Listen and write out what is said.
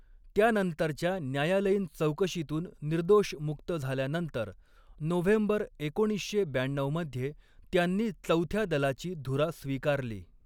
त्यानंतरच्या न्यायालयीन चौकशीतून निर्दोष मुक्त झाल्यानंतर नोव्हेंबर एकोणीसशे ब्याण्णवमध्ये त्यांनी चौथ्या दलाची धुरा स्वीकारली.